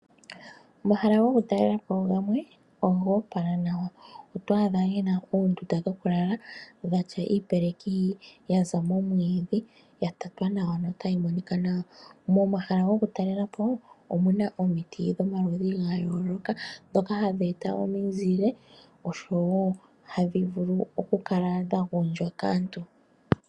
Omahala kokutalela po gamwe oga opala nawa oto adha ge na uundunda wokulala watya uupeleki wa za momwiidhi wa tatwa nawa notawumonika nawa. Momahala gokutalela omu na omiti dhomaludhi ga yooloka ndhoka hadhi eta omizile osho woo ohadhi vulu okukala dha gondjwa kaantu.